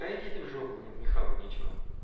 да иди ты в жопу блин мне хавать нечего